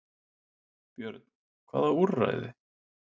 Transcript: Björn: Hvaða úrræði?